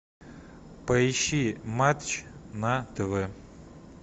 поищи матч на тв